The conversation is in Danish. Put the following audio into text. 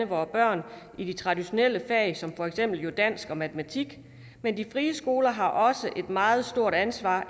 vore børn i de traditionelle fag som for eksempel dansk og matematik men de frie skoler har også et meget stort ansvar